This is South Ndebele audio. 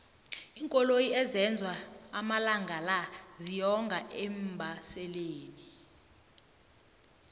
iinkoloyi ezenzwa amalangala ziyonga eembaselini